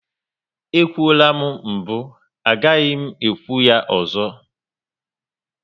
E kwuola m mbụ, agaghị m ekwu ya ozo